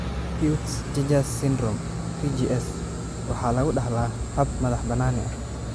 Peutz Jeghers Syndrome (PJS) waxaa lagu dhaxlaa hab madax-bannaani ah.